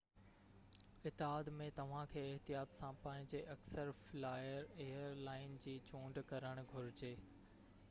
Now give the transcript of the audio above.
اتحاد ۾ توھان کي احتياط سان پنھنجي اڪثر فلائر ايئر لائن جي چونڊ ڪرڻ گھرجي